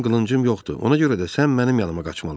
Mənim qılıncım yoxdur, ona görə də sən mənim yanıma qaçmalısan.